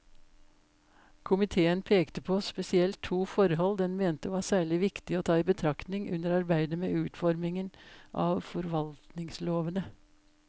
Komiteen pekte på spesielt to forhold den mente var særlig viktig å ta i betraktning under arbeidet med utformingen av forvaltningslovene.